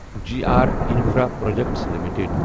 G R infraprojects limited